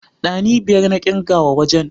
Ɗani biyar na ƙirga wa wajen.